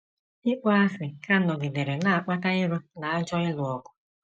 Ịkpọasị ka nọgidere na - akpata iro na ajọ ịlụ ọgụ.